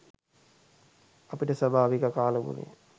අපිට ස්වාභාවික කාලගුණය